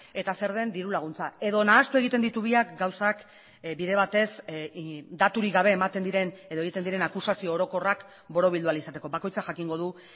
eta zer den dirulaguntza edo nahastu egiten ditu biak gauzak bide batez daturik gabe ematen diren edo egiten diren akusazio orokorrak borobildu ahal izateko bakoitzak jakingo du